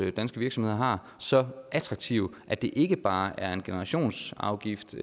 danske virksomheder har så attraktive at det ikke bare er en generationsafgift